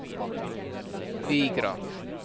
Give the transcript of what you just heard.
Vigra